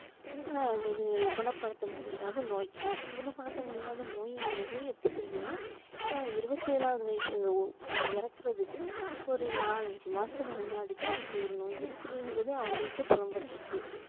ஆஹ் ஒரு குணபடுத்த முடியாத நோய் குணபடுத்த முடியாத நோய்ங்குறது எப்போ தெரிஞ்சுதுனா இருபத்தி ஏழாவது வயது இறக்குறதுக்கு ஒரு நாலு அஞ்சு மாசத்துக்கு முன்னாடிதான் இப்படி ஒரு நோய் இருக்குதுங்குறதே அவங்களுக்கே புலம்பட்ருக்கு